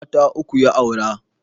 Mata uku ya aura